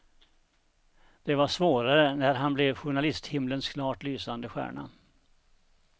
Det var svårare när han blev journalisthimlens klart lysande stjärna.